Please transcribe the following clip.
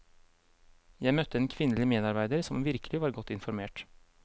Jeg møtte en kvinnelig medarbeider som virkelig var godt informert.